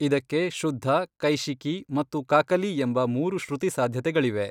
ಇದಕ್ಕೆ ಶುದ್ಧ, ಕೈಶಿಕೀ ಮತ್ತು ಕಾಕಲೀ ಎಂಬ ಮೂರು ಶ್ರುತಿ ಸಾಧ್ಯತೆಗಳಿವೆ.